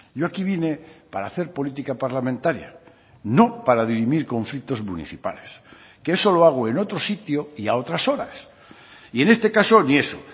yo aquí vine para hacer política parlamentaria no para dirimir conflictos municipales que eso lo hago en otro sitio y a otras horas y en este caso ni eso